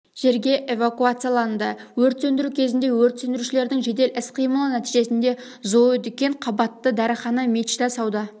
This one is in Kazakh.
жерге эвакуацияланды өрт сөндіру кезінде өрт сөндірушілердің жедел іс-қимылы нәтижесінде зоодүкен қабатты дәріхана мечта сауда